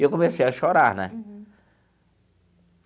E eu comecei a chorar, né?